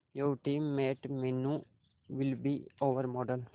your teammate Meenu will be our model